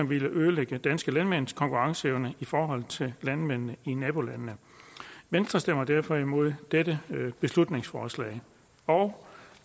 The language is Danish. vil ødelægge danske landmænds konkurrenceevne i forhold til landmænd i nabolandene venstre stemmer derfor imod dette beslutningsforslag og